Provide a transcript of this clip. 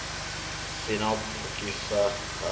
si na u pfukiwa ha